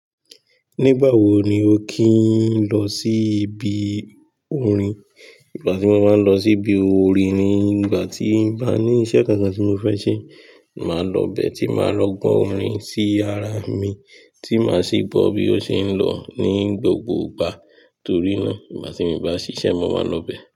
Nígbà wo ni o kì ń lọ sí ibi orin? Ìgbà tí mo máa ń lọ sí ibi orin ni ìgbà tí bá ní iṣẹ́ kan kan tí mo fẹ́ ṣe, màá lọ bẹ́ẹ̀ tí màá lọ gbọ́ orin sí ara mi, tí màá sì bọ́ bí ó ṣe ń lọ ní gbogbo ìgbà. Torí náà, ìgbà tí ì bá ṣíṣe, mo máa ń lọ bẹ́ẹ̀.